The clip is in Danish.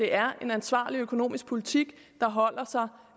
er en ansvarlig økonomisk politik